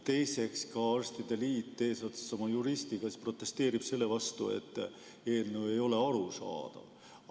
Teiseks, ka arstide liit eesotsas oma juristiga protesteerib selle vastu, et eelnõu ei ole arusaadav.